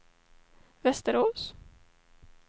Västerås